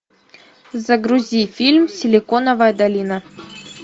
загрузи фильм силиконовая долина